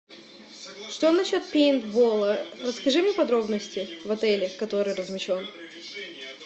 что насчет пейнтбола расскажи мне подробности в отеле который размещен